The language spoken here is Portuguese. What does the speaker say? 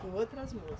Com outras moça